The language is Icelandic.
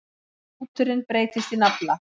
Hnúturinn breytist í nafla.